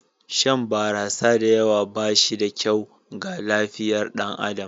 Shan barasa da yawa ba shi da kyau ga lafiyar ɗan adam.